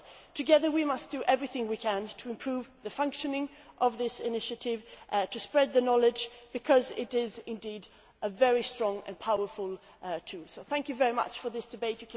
Together we must do everything we can to improve the functioning of this initiative and to spread the knowledge, because it is indeed a very strong and powerful tool. Thank you very much for this debate.